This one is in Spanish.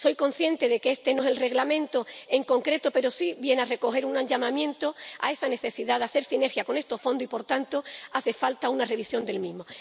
Soy consciente de que este no es el Reglamento en concreto, pero sí se recoge aquí un llamamiento a esa necesidad de hacer sinergia con estos fondos y, por tanto, hace falta una revisión del mismo.